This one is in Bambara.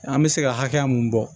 An bɛ se ka hakɛ mun bɔ